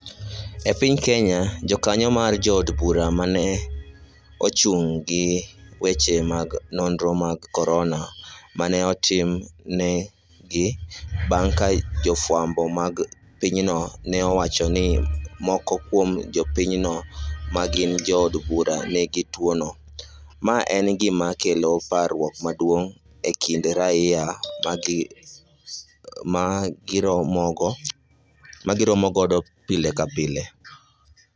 E piny kenya, jokanyo ma jo od bura ne ochuno ni gichiw weche mag nonro mag corona ma ne otim negi bang' ka jo fwambo mag pinyno ne owacho ni moko kuom jopiny no ma gin jo od bura nigi tuo no, ma en gima kelo parruok maduong' e kind raia ma giromogo pile ka pile